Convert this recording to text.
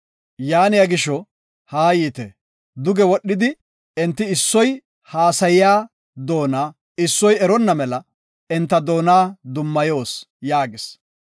Yaaniya gisho, haayite; duge wodhidi enti issoy haasayiya doona issoy eronna mela enta doona dummayos” yaagis.